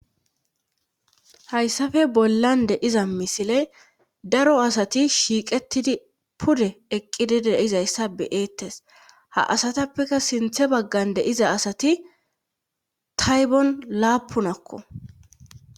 Hayssafe bollan de iza misile daro asati shiiqetidi pude eqqidi deizayssa beeettes ha asatappeka sinthe baggan de iza asati taybon laapunakko.